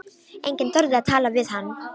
Enginn þorði að tala við hann.